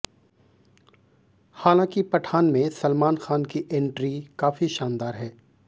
हालांकि पठान में सलमान खान की एंट्री काफी शानदार है